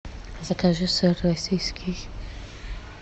закажи сыр российский